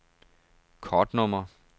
kortnummer